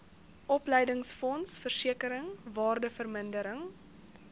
opleidingsfonds versekering waardevermindering